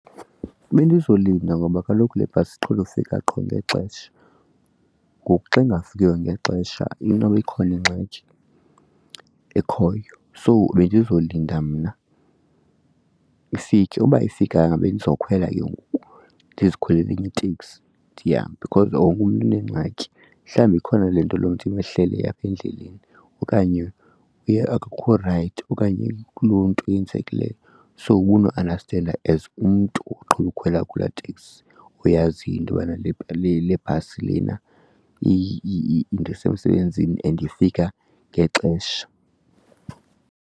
Bendizolinda ngoba kaloku le bhasi iqhele ufika qho ngexesha ngoku xa ingafikiyo ngexesha inoba ikhona ingxaki ekhoyo. So bendizolinda mna ifike. Uba ayifikanga bendizokhwela ke ngoku, ndizikhwelele enye iteksi ndihambe because wonke umntu uneengxaki. Mhlawumbi ikhona le nto loo mntu imehlele apha endleleni okanye uye akakho rayithi okanye kuloo nto eyenzekileyo. So ubonoandastenda as umntu oqhele ukhwela kulaa teksi oyaziyo into bana le bhasi lena indisa emsebenzini and ifika ngexesha.